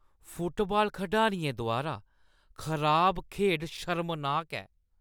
Football खढारियें द्वारा खराब खेढ शर्मनाक ऐ।